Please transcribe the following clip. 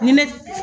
Ni ne